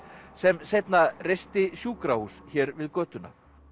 sem seinna reisti sjúkrahús hér við götuna